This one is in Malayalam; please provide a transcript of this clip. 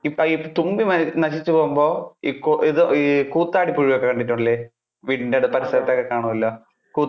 ഇപ്പൊ ഈ തുമ്പി മരിച്ചു പോകുമ്പോൾ, ഇത് ആഹ് ഈ കൂത്താടി പുഴുവിനെ ഒക്കെ കണ്ടിട്ടില്ലേ, വീടിന്‍ടെ പരിസരത്തൊക്കെ കാണുമല്ലോ കൂ~